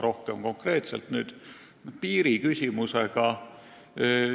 Nüüd aga konkreetselt piirist.